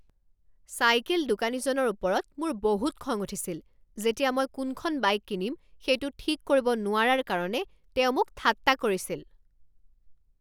Cycle দোকানীজনৰ ওপৰত মোৰ বহুত খং উঠিছিল যেতিয়া মই কোনখন বাইক কিনিম সেইটো ঠিক কৰিব নোৱাৰাৰ কাৰণে তেওঁ মোক ঠাট্টা কৰিছিল।